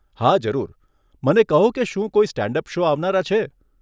હા, જરૂર. મને કહો કે શું કોઈ સ્ટેન્ડ અપ શો આવનારા છે?